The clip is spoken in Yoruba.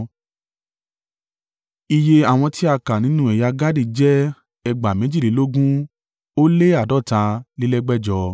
Iye àwọn tí a kà nínú ẹ̀yà Gadi jẹ́ ẹgbàá méjìlélógún ó lé àádọ́talélẹ́gbẹ̀jọ (45,650).